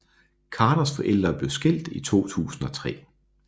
Carters forældre blev skilt i 2003